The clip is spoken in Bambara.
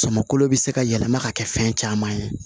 Sɔmɔkolo bɛ se ka yɛlɛma ka kɛ fɛn caman ye